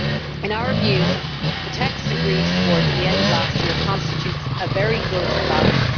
In our view, the text agreed towards the end of last year constitutes a very good balance.